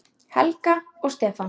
Helga og Stefán.